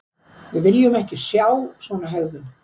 Við viljum ekki sjá svona hegðun.